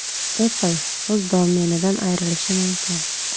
Apple o‘z domenidan ayrilishi mumkin.